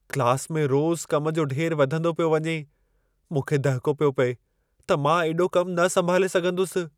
Class में रोज़ कम जो ढेर वधंदो पियो वञे। मूंखे दहिको पियो पिए त मां एॾो कम न संभाले सघंदुसि।